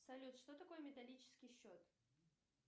салют что такое металлический счет